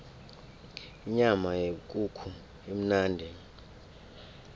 inyama yekukhu imnandi